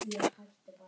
Thomas kímdi.